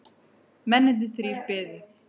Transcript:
Mennirnir þrír biðu.